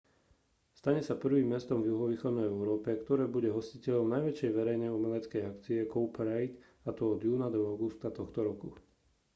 stane sa prvým mestom v juhovýchodnej európe ktoré bude hostiteľom najväčšej verejnej umeleckej akcie cowparade a to od júna do augusta tohto roku